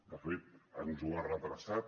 de fet ens ho ha retardat